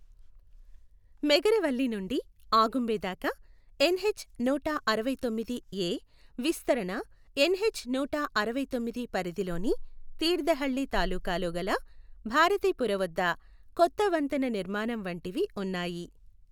మెగరవళ్లి నుండి ఆగుంబె దాకా ఎన్హెచ్ నూట అరవైతొమ్మిది ఎ విస్తరణ ఎన్హెచ్ నూట అరవైతొమ్మిది పరిధి లోని తీర్థహళ్లి తాలూకాలో గల భారతీపుర వద్ద కొత్త వంతెన నిర్మాణం వంటివి ఉన్నాయి.